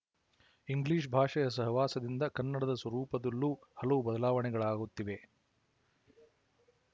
English ಭಾಷೆಯ ಸಹವಾಸದಿಂದ ಕನ್ನಡದ ಸ್ವರೂಪದಲ್ಲೂ ಹಲವು ಬದಲಾವಣೆಗಳಾಗುತ್ತಿವೆ